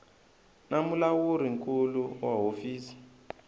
na mulawuri nkulu wa hofisi